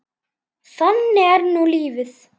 Þannig er nú lífið.